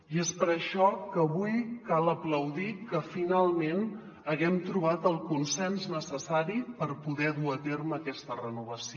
i és per això que avui cal aplaudir que finalment haguem trobat el consens necessari per poder dur a terme aquesta renovació